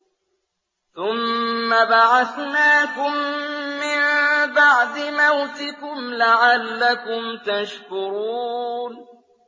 ثُمَّ بَعَثْنَاكُم مِّن بَعْدِ مَوْتِكُمْ لَعَلَّكُمْ تَشْكُرُونَ